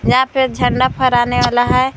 यहां पे झंडा फहराने वाला है।